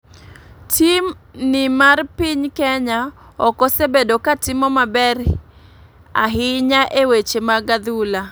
Tim ni mar piny kenya ok osebedo ka timo maber hinya e weche mag adhula.